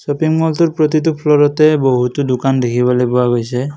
Shopping মলটোৰ প্ৰতিটো ফ্ল'ৰতে বহুতো দোকান দেখিবলৈ পোৱা গৈছে।